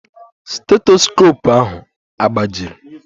Stetoskopu ahụ agbajiri?